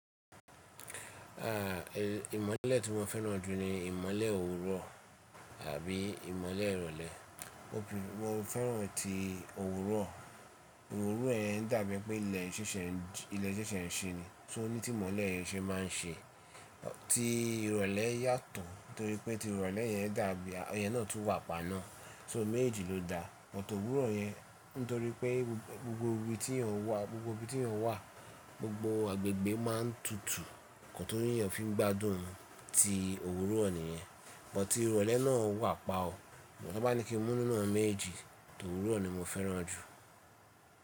À, ìmọ́lẹ̀ tí mo fẹ́ràn jù ni ìmọ́lẹ̀ òwúrọ̀ àbí ìmọ́lẹ̀ ìrọ̀lẹ́. Mo fẹ́ràn ti òwúrọ̀. Òwúrọ̀ yẹn dàbí i pé ilẹ̀ ṣẹ́ṣẹ́ ń ṣi ni. So ní tí ìmọ́lẹ̀ yẹn ṣe máa ń ṣe. Ti ìrọ̀lẹ́ yàtọ̀, torí pé ti ìrọ̀lẹ́ yẹn dàbí, iyẹn náà tún wà pa náà. So méjéjì ló da, bọ̀tọ̀ òwúrọ̀ yẹn, nítorí pé gbogbo ibi tí èèyàn wà, gbogbo agbègbè máa ń tutù. Ǹkọ́ tó ní èèyàn fi ń gbádùn ti òwúrọ̀ nìyẹn. Bọ̀tí ìrọ̀lẹ́ náà wà pa ọ. Bọ̀ tó bá ní kín mu ninú awon méjéjì, tòwúrọ̀ ni mo fẹ́ràn jù.